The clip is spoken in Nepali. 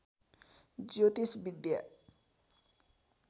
ज्योतिष विद्या